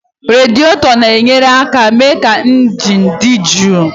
Radiétọ na-enyere aka mee ka injin dị jụụ